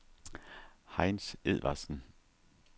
Heinz Edvardsen